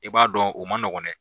I b'a dɔn u manɔgɔn dɛ.